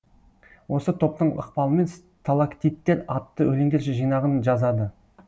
осы топтың ықпалымен сталактиттер атты өлеңдер жинағын жазады